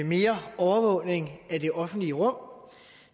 mere overvågning i det offentlige rum